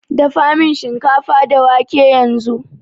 Dafamin shinkafa da wake yanzu